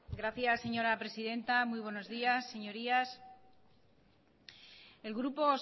gracias señora presidenta muy buenos días señorías el grupo